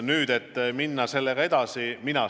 Nüüd, kas minna sellega edasi?